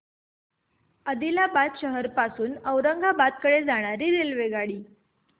आदिलाबाद शहर पासून औरंगाबाद कडे जाणारी रेल्वेगाडी